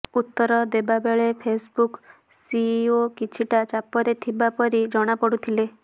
ଉତ୍ତର ଦେବାବେଳେ Facebook CEO କିଛିଟା ଚାପରେ ଥିବାପରି ଜଣାପଡ଼ୁଥିଲେ